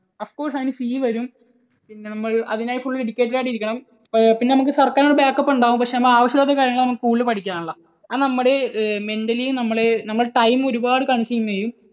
of course അതിനു fee വരും. പിന്നെ അതിനായി നമ്മൾ full dedicated ആയിട്ടിരിക്കണം. പിന്നെ നമുക്ക് സർക്കാരിൻറെ ഒരു back up ഉണ്ടാകും പക്ഷെ ആവശ്യമില്ലാത്ത കാര്യങ്ങൾ ആണ് നമ്മൾ കൂടുതൽ പഠിക്കാനുള്ളത്. അതു നമ്മുടെ mentally നമ്മളെ നമ്മുടെ time ഒരുപാട് consume ചെയ്യും